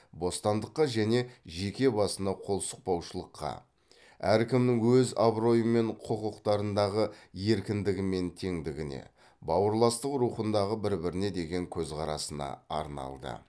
бостандыққа және жеке басына қол сұқпаушылыққа әркімнің өз абыройы мен құқықтарындағы еркіндігі мен теңдігіне бауырластық рухындағы бір біріне деген көзқарасына арналды